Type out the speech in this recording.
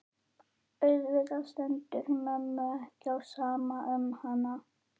Auðvitað stendur mömmu ekki á sama um hana.